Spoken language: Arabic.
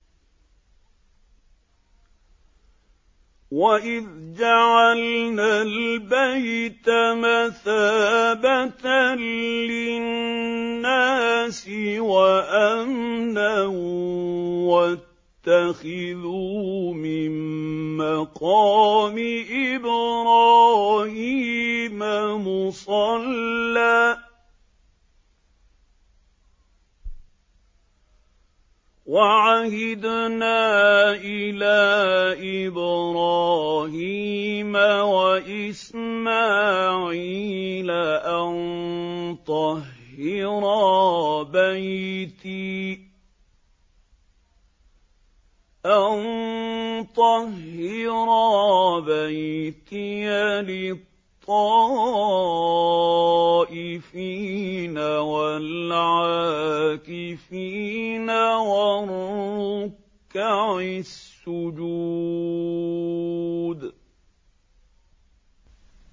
وَإِذْ جَعَلْنَا الْبَيْتَ مَثَابَةً لِّلنَّاسِ وَأَمْنًا وَاتَّخِذُوا مِن مَّقَامِ إِبْرَاهِيمَ مُصَلًّى ۖ وَعَهِدْنَا إِلَىٰ إِبْرَاهِيمَ وَإِسْمَاعِيلَ أَن طَهِّرَا بَيْتِيَ لِلطَّائِفِينَ وَالْعَاكِفِينَ وَالرُّكَّعِ السُّجُودِ